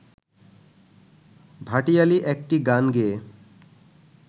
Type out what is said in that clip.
ভাটিয়ালি একটি গান গেয়ে